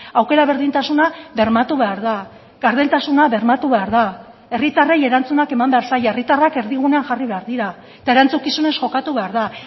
aukera berdintasuna bermatu behar da gardentasuna bermatu behar da herritarrei erantzunak eman behar zaie herritarrak erdigunean jarri behar dira eta erantzukizunez jokatu behar da